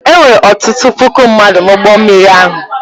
E nwere ọtụtụ puku mmadụ n’ụgbọ mmiri ahụ.